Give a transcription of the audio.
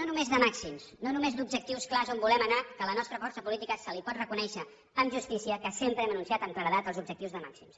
no només de màxims no només d’objectius clars on volem anar que a la nostra força política se li pot reconèixer amb justícia que sempre hem anunciat amb claredat els objectius de màxims